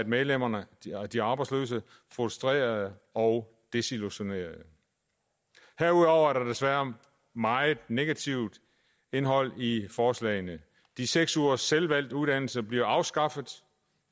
medlemmerne de arbejdsløse frustrerede og desillusionerede herudover er der desværre meget negativt indhold i forslagene de seks ugers selvvalgt uddannelse bliver afskaffet